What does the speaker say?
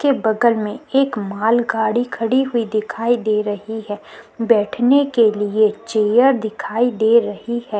के बगल में एक मालगाड़ी खड़ी हुई दिखाई दे रही है बैठने के लिए चेयर दिखाई दे रही है।